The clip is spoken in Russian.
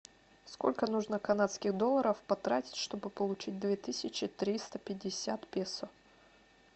сколько нужно канадских долларов потратить чтобы получить две тысячи триста пятьдесят песо